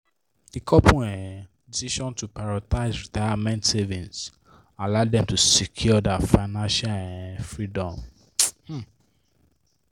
di couple um decision to prioritize retirement savings allow dem to secure their financial um freedom. um